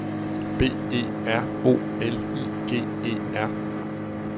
B E R O L I G E R